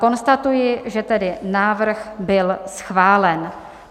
Konstatuji, že tedy návrh byl schválen.